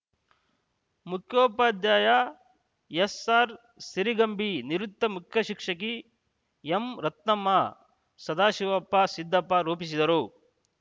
ಮುಖ್ಯೋಪಾಧ್ಯಾಯ ಎಸ್‌ಆರ್‌ಸಿರಿಗಂಬಿ ನಿವೃತ್ತ ಮುಖ್ಯ ಶಿಕ್ಷಕಿ ಎಂರತ್ನಮ್ಮ ಸದಾಶಿವಪ್ಪ ಸಿದ್ದಪ್ಪ ರೂಪಿಸಿದರು